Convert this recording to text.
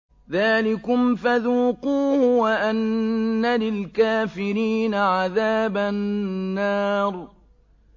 ذَٰلِكُمْ فَذُوقُوهُ وَأَنَّ لِلْكَافِرِينَ عَذَابَ النَّارِ